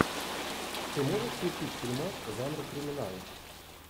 ты можешь включить фильмас жанра криминал